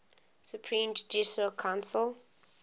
supreme judicial council